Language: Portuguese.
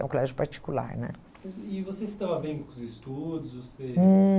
é um colégio particular né? E você estava bem com os estudos? Você... Hum